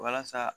Walasa